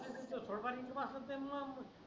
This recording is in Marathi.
मग सोड पाणी असेल त्यांना